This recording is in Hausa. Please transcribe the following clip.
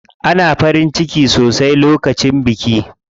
Ana farin ciki sosai lokacin biki.